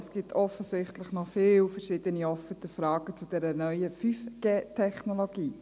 Es gibt offensichtlich noch viele verschiedene offene Fragen zu dieser neuen 5G-Technologie.